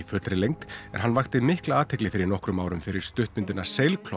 fullri lengd en hann vakti mikla athygli fyrir nokkrum árum fyrir stuttmyndina